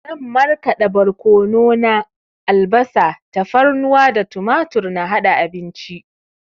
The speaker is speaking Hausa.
Zan marƙada borkono na, albasa, tafarnuwa da tumatur na haɗa abinci